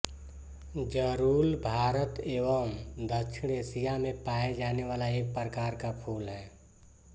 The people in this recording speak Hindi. जरुल भारत एवं दक्षिण एशीया मे पाये जाने वाला एक प्रकार का फ़ूल है